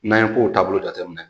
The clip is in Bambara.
N'an ye kow taabolo jateminɛ